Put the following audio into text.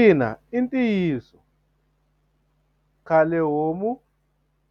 Ina i ntiyiso khale homu